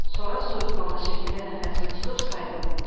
Sonra soyuqqanlı şəkildə nəfəsimi tutub saydım.